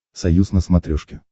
союз на смотрешке